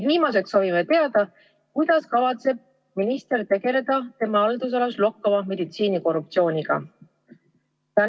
Ja viimaseks soovime teada seda, kuidas kavatseb minister tegeleda tema haldusalas lokkava meditsiinikorruptsiooniga?